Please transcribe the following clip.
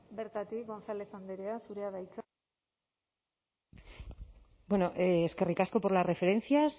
bertatik gonzález andrea zurea da hitza bueno eskerrik asko por las referencias